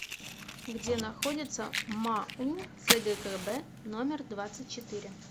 где находится мау цгкб номер двадцать четыре